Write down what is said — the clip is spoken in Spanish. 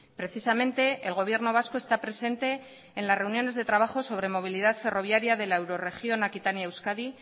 precisamente el gobierno vasco está presente en las reuniones de trabajo sobre movilidad ferroviaria de la eurorregión aquitania euskadi